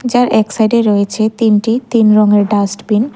যার এক সাইডে রয়েছে তিনটি তিন রঙের ডাস্টবিন ।